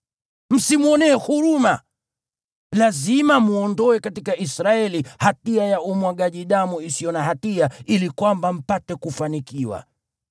Msimwonee huruma. Lazima mwondoe katika Israeli hatia ya umwagaji damu isiyo na hatia ili kwamba mpate kufanikiwa.